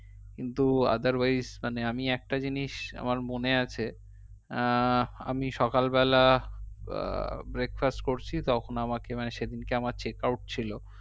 কিন্তু otherwise মানে আমি একটা জিনিস আমার মনে আছে আহ আমি সকালবেলা আহ breakfast করছি তখন আমাকে মানে সেদিনকে আমার checkout ছিল